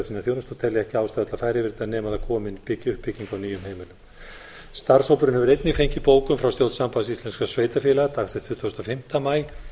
sína þjónustu og telja ekki ástæðu til að fara yfir þetta nema það komi uppbygging frá nýjum heimilum starfshópurinn hefur einnig fengið bókun frá stjórn sambands íslenskra sveitarfélaga dagsett tuttugasta og fimmta maí